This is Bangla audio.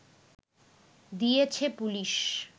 দিয়েছে পুলিশ